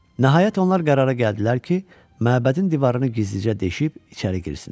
Nəhayət onlar qərara gəldilər ki, məbədin divarını gizlicə deşib içəri girsinlər.